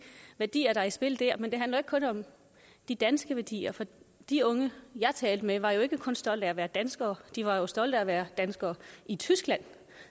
værdier der er i spil der men det handler ikke kun om de danske værdier for de unge jeg talte med var jo ikke kun stolte af at være danskere de var stolte af at være danskere i tyskland